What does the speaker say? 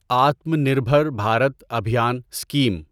Atma Nirbhar Bharat Abhiyan scheme